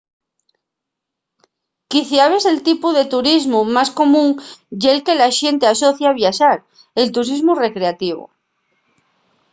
quiciabes el tipu de turismu más común ye'l que la xente asocia a viaxar el turismu recreativu